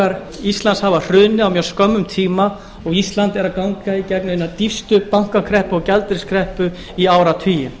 kerfisbankar íslands hafa hrunið á mjög skömmum tíma og ísland er að ganga í gegnum eina dýpstu bankakreppu og gjaldeyriskreppu í áratugi